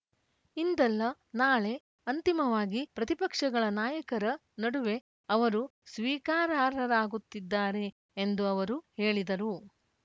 ಇಂದಲ್ಲ ನಾಳೆ ಅಂತಿಮವಾಗಿ ಪ್ರತಿಪಕ್ಷಗಳ ನಾಯಕರ ನಡುವೆ ಅವರು ಸ್ವೀಕಾರಾರ್ಹರಾಗುತ್ತಿದ್ದಾರೆ ಎಂದು ಅವರು ಹೇಳಿದರು